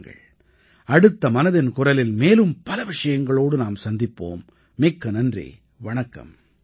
வாருங்கள் அடுத்த மனதின் குரலில் மேலும் பல விஷயங்களோடு நாம் சந்திப்போம் மிக்க நன்றி வணக்கம்